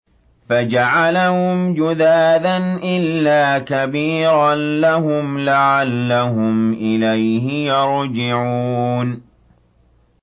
فَجَعَلَهُمْ جُذَاذًا إِلَّا كَبِيرًا لَّهُمْ لَعَلَّهُمْ إِلَيْهِ يَرْجِعُونَ